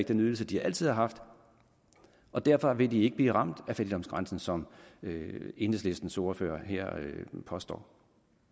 den ydelse de altid har haft og derfor vil de ikke blive ramt af fattigdomsgrænsen som enhedslistens ordfører her påstår